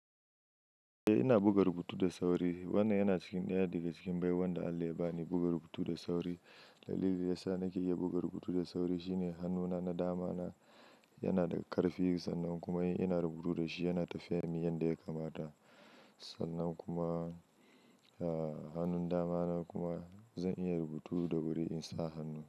Eh ina buga rubutu da sauri. Wannan yana cikin ɗaya daga cikin baiwan da Allah ya ba ni buga rubutu da sauri. Dalilin yasa nake iya buga rubutu da sauri shine hannu na na dama na yana da ƙarfi sannan kuma in ina rubutu da shi yana tafiya min yanda ya kamata. Sannan kuma, hannun dama na kuma zan iya rubutu da wuri in sa hannu.